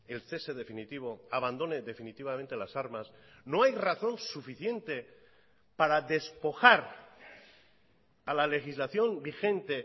el cese definitivo abandone definitivamente las armas no hay razón suficiente para despojar a la legislación vigente